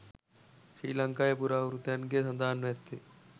ශ්‍රී ලංකාවේ පුරාවෘත්තයන්ගේ සඳහන්ව ඇත්තේ